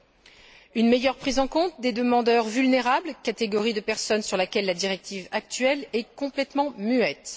Deuxièmement, une meilleure prise en compte des demandeurs vulnérables, catégorie de personnes sur laquelle la directive actuelle est complètement muette.